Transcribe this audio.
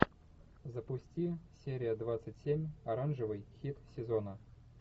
запусти серия двадцать семь оранжевый хит сезона